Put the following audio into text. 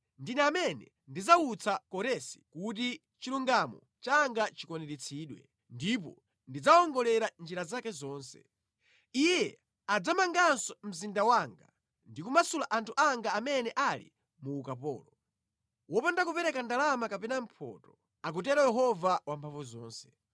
Ndine amene ndidzawutsa Koresi kuti chilungamo changa chikwaniritsidwe: ndipo ndidzawongolera njira zake zonse. Iye adzamanganso mzinda wanga ndi kumasula anthu anga amene ali mu ukapolo, wopanda kupereka ndalama kapena mphotho, akutero Yehova Wamphamvuzonse.”